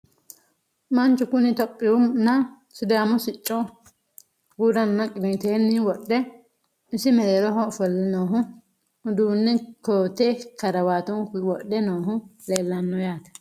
Manchu kunni ithiopiyu nna sidaamu sicco gura nna qiniittenni wodhe isi mereerroho offolle noohu uduunne kootte karawaatunkuy wodhe noohu leelanno yaatte